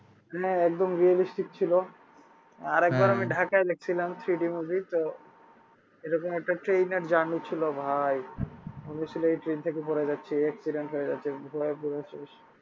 হ্যাঁ একদম realistic ছিল আর একবার আমি আমি ঢাকায় দেখছিলাম three d movie তো এরকম একটা train এর journey ছিল ভাই মনে হচ্ছিলো ওই train থেকে পরে যাচ্ছি accident হয়ে যাচ্ছে